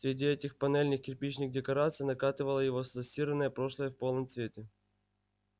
среди этих панельных-кирпичных декораций накатывало его застиранное прошлое в полном цвете